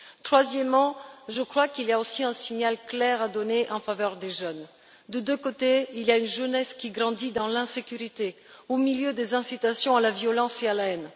Troisièmement, je crois qu'il y a aussi un signal clair à donner en direction des jeunes. Des deux côtés, il y a une jeunesse qui grandit dans l'insécurité au milieu des incitations à la violence et à la haine.